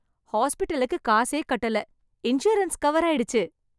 ஹாஸ்பிடலுக்கு காசே கட்டல இன்சூரன்ஸ் கவர் ஆயிடுச்சு.